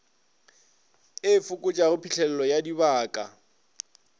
e fokotšago phitlhelelo ya dibaka